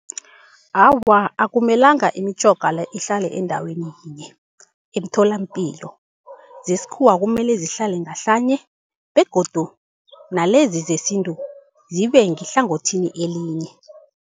Awa, akumelanga imitjhoga le ihlale endaweni yinye emtholampilo. Zesikhuwa kumele zihlale ngahlanye begodu nalezi zesintu zibe ngehlangothini elinye.